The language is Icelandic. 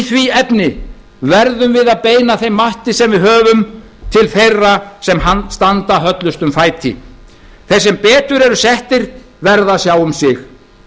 í því efni verðum við að beina þeim mætti sem við höfum til þeirra sem standa höllustum fæti þeir sem betur eru settir verða að sjá um sig